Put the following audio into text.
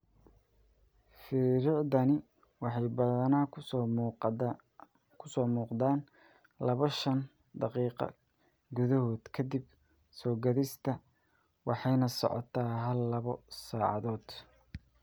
Firiiricdani waxay badanaa ku soo muuqdaan laabo shaan daqiiqo gudahood ka dib soo-gaadhista waxayna socotaa hal laabo saacadood.